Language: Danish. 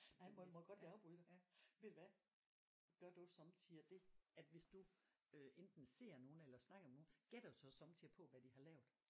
Nej må må jeg godt lige afbryde dig ved du hvad gør du sommetider det at hvis du øh enten ser nogen eller snakker med nogen gætter du så sommetider på hvad de har lavet